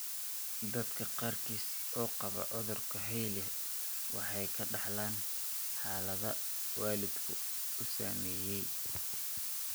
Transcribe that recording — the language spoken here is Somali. Dadka qaarkiis oo qaba cudurka Hailey Hailey waxay ka dhaxlaan xaalada waalidkii uu saameeyay.